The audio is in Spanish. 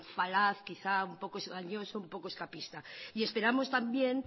falaz quizá un poco engañoso un poco escapista y esperamos también